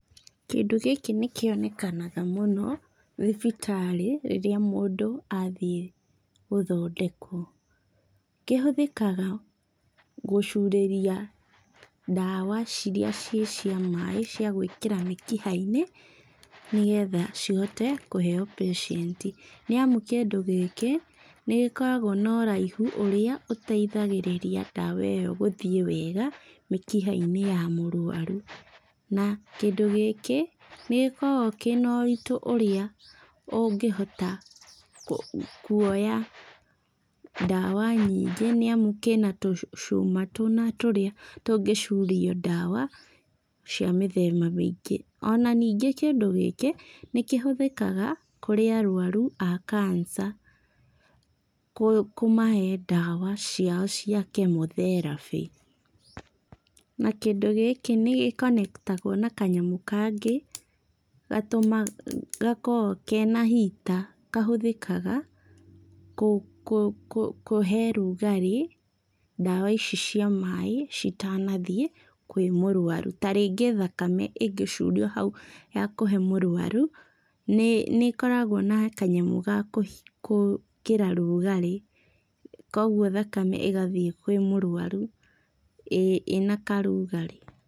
Kĩndũ gĩkĩ nĩkĩonekanaga mũno, thibitarĩ, rĩrĩa mũndũ athiĩ gũthondekwo. Kĩhũthĩkaga gũcurĩria ndawa ciria ciĩ cia maĩ cia gwĩkĩra mĩkiha-inĩ, nĩgetha cihote kũheo patient, nĩamu kĩndũ gĩkĩ nĩgĩkoragwo na ũraihu ũrĩa ũteithagĩrĩria ndawa ĩyo gũthiĩ wega, mĩkiha-inĩ ya mũrũaru. Na kĩndũ gĩkĩ nĩgĩkoragwo kĩna ũritũ ũrĩa ũngĩhota kuoya ndawa nyingĩ nĩamu kĩna tũcuma tũna tũrĩa tũngĩcurio ndawa, cia mĩthemba mĩingĩ. Ona ningĩ kĩndũ gĩkĩ, nĩkĩhũthĩkaga kũrĩ arũaru a cancer kũmahe ndawa ciao cia chemotherapy. Na kĩndũ gĩki nĩ gĩkonetagwo na kanyamũ kangĩ gakoragwo kena heater kahũthĩkaga kũhe rũragĩ, ndawa ici cia maĩ, citanathiĩ kwĩ mũrũaru. Ta rĩngĩ thakame ĩngĩcurio hau ya kũhe mũrũaru, nĩ ĩkoragwo na kanyamũ ga gwĩkĩra rugarĩ, koguo thakame ĩgathiĩ kwĩ mũrũaru ĩna karugarĩ.